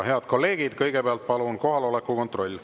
Head kolleegid, kõigepealt palun kohaloleku kontroll.